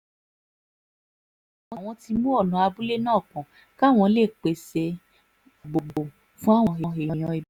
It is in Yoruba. àwọn ti mú ọ̀nà abúlé náà pọ̀n káwọn lè pèsè